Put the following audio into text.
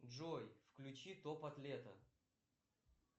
джой включи топот лета